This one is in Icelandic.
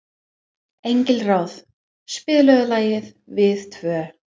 Engilráð, spilaðu lagið „Við tvö“.